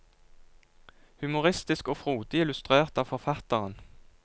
Humoristisk og frodig illustrert av forfatteren.